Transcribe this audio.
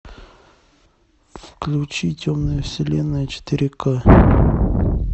включи темная вселенная четыре ка